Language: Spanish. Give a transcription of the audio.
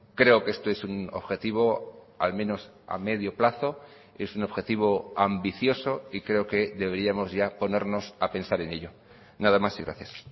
creo que esto es un objetivo al menos a medio plazo es un objetivo ambicioso y creo que deberíamos ya ponernos a pensar en ello nada más y gracias